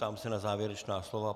Ptám se na závěrečná slova.